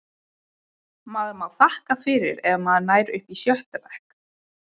Maður má þakka fyrir ef maður nær upp í sjötta bekk.